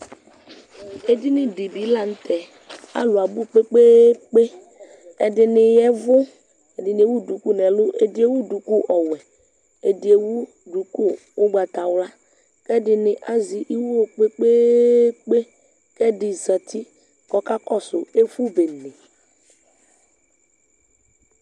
Edini dibi la nu tɛ alu abu kunu kunu kpe kpekpe ɛdini yavu ɛdini ewu duku nu ɛlu ɛdini ewu ɛku ɔwɛ ɛdi ɛdi ewu ɛku ugbatawla ɛdi azɛ iwo kpekpekpe ku ɛdi zati ku ɔkakɔsu ɛfubene